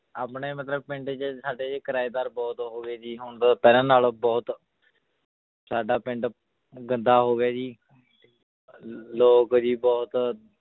ਆਪਣੇ ਮਤਲਬ ਪਿੰਡ 'ਚ ਸਾਡੇ ਕਿਰਾਏਦਾਰ ਬਹੁਤ ਹੋ ਗਏ ਜੀ ਹੁਣ ਪਹਿਲਾਂ ਨਾਲੋਂ ਬਹੁਤ ਸਾਡਾ ਪਿੰਡ ਗੰਦਾ ਹੋ ਗਿਆ ਜੀ ਲ~ ਲੋਕ ਜੀ ਬਹੁਤ